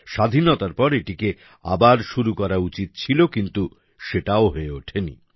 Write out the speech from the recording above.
স্বাধীনতার পর এটিকে আবার শুরু করা উচিত ছিল কিন্তু সেটাও হয়ে ওঠেনি